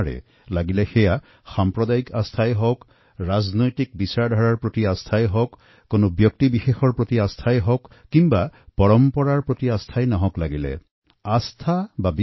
সেয়া লাগিলে সাম্প্ৰদায়িক বিশ্বাসেই হওঁক ৰাজনৈতিক চিন্তাধাৰাৰ প্ৰতি থকা বিশ্বাসেই হওঁক অথবা কোনো ব্যক্তিগত কোনো পৰম্পৰাৰ প্ৰতি বিশ্বাসেই হওঁক কোনো ক্ষেত্ৰতে হিংসাক সহ্য কৰা নহয়